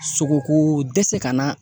Sogoko dɛsɛ ka na